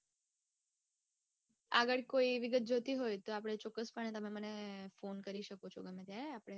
આગળ કોઈ વિગત જોઈતી હોય તો આપડે ચોક્કસપણે તમે મને phone કરી શકો છો ગમે ત્યારે આપડે પછી વાત કરીયે